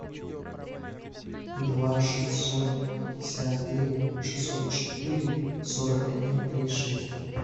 два шестьсот пятьдесят девять шестьсот четыре сорок один три шесть